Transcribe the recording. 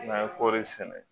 N'an ye kɔri sɛnɛ